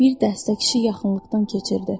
Bir dəstə kişi yaxınlıqdan keçirdi.